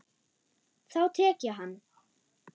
Þá tek ég hann!